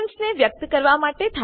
ને વ્યક્ત કરવા માટે થાય છે